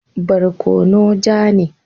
Barkono ja ne.